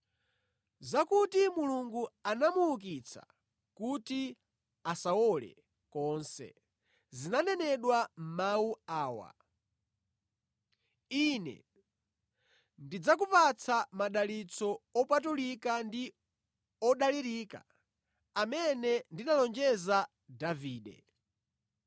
Zakuti Mulungu anamuukitsa kuti asawole konse, zinanenedwa mʼmawu awa: “ ‘Ine, ndidzakupatsa madalitso opatulika ndi odalirika amene ndinalonjeza Davide.’